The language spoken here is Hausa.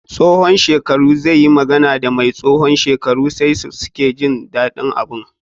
Tsohon shekaru zai yi magana da mai tsohon shekaru sai sa suke jin daɗin abun.